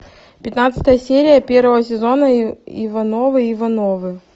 пятнадцатая серия первого сезона ивановы ивановы